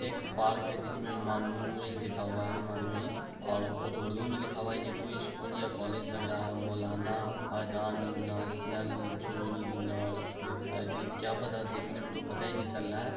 एक पार्क है जिसमे मनोई लिखा हुआ है। मनोई और कुछ उर्दू में लिखा हुआ है । ये कोई स्कूल या कॉलेज लग रहा है। मौलाना अजान नेशनल क्या पता देखने में तो कुछ पता ही नहीं चल रहा है।